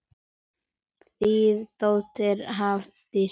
Þín dóttir Hafdís.